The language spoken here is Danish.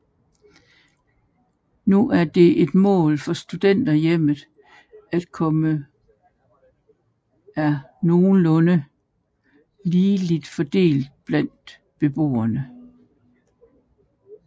Nu er det et mål for Studenterhjemmet at kønnene er nogenlunde ligeligt fordelt blandt beboerne